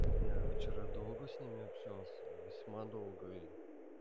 я вчера долго с ними общался весьма долго и